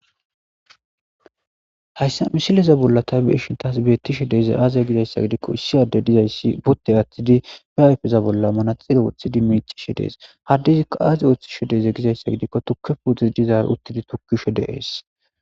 Hayssa misileza bollan ta be7ishin taas beettishe dizayssi aaze giza gidikkoissi addey dayssi uttidi be ayfeza bolla manaxxire wothidi miiccishe dees. haaddezikka aazi oothize gizayssa gidikko tukke puute dizaaro uttidi tokkishe dees.